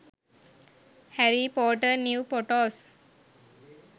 harry potter new photos